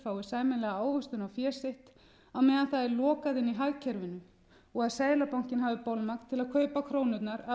sitt á meðan það er lokað inni í hagkerfinu og að seðlabankinn hafi bolmagn til að kaupa krónurnar af